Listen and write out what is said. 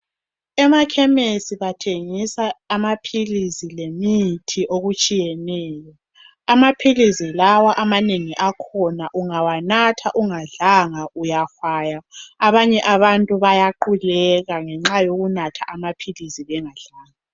Emakhemesi bathengisa amapilisi lemithi okutshiyeneyo. Amapilisi lawa amanegi akahona ungawanatha ungadlanga uyahwaya, abanye abantu bayaqhuleka ngenxa yokunatha amapilisi bengadlanga.